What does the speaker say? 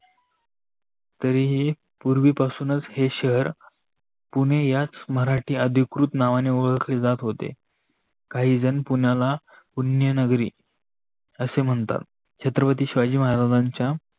तरी ही पुर्वी पासूनच हे शहर पुणे याच मराठी अधिकृत नावाने ओलखले जात होते. काही जन पुणेला पुणेनगरी असे म्हणतात. छत्रपती शिवाजी महाराजांच्या